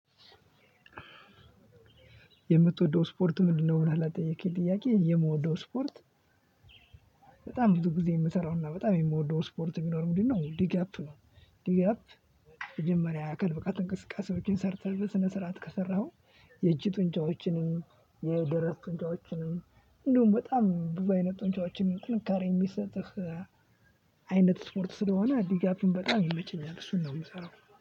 የምትወደው ስፖርት ምንድነው? ብለህ ለጠየቀኝ ጥያቄ የምወደው ስፖርት በጣም ብዙ ጊዜ የምሰራውና በጣም የምወደው ስፖርት ቢኖር ምንድ ነው፤ ዲጋፕ ነው። ዲጋፕ መጀመሪያ የአካል ብቃት እንቅስቃሴዎችን ሰርተህ በስነ ስርዓት ከሰራኸው፤ የእጅ ጡንቻዎችንም የደረት ጡንጫዎችንም እንደውም በጣም ብዙይነት ጡንጫዎችንም ጥንካሬ የሚሰጥህ አይነት ስፖርት ስለሆነ ዲጋፕን በጣም ይመቸኛል እሱን ነው የምሰራው።